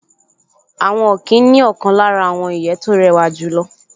Àwọn ọ̀kín ní ọ̀kan lára àwọn ìyẹ́ tó rẹwà jùlọ